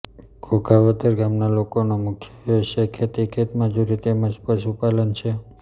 ઘોઘાવદર ગામના લોકોનો મુખ્ય વ્યવસાય ખેતી ખેતમજૂરી તેમ જ પશુપાલન છે